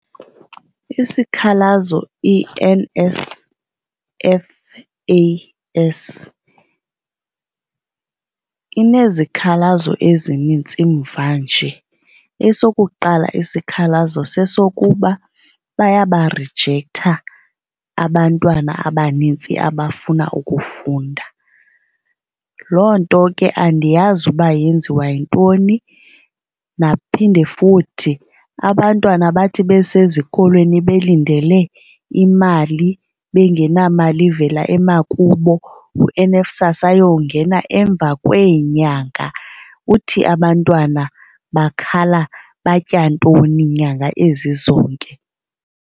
Isikhalazo iNSFAS inezikhalazo ezinintsi mvanje. Esokuqala isikhalazo sesokuba bayabarijektha abantwana abanintsi abafuna ukufunda, loo nto ke andiyazi uba yenziwa yintoni. Naphinde futhi abantwana bathi besezikolweni belindele imali bengenamali ivela emakube uNSFAS ayongena emva kweenyanga. Uthi abantwana bakhala batya ntoni nyanga ezi zonke?